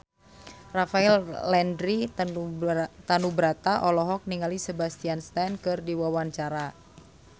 Rafael Landry Tanubrata olohok ningali Sebastian Stan keur diwawancara